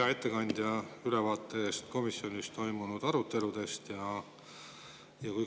Hea ettekandja, ülevaate eest komisjonis toimunud aruteludest!